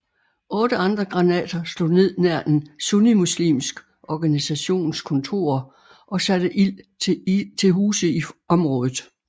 Otte andre granater slog ned nær en sunnimuslimsk organisations kontorer og satte ild til huse i området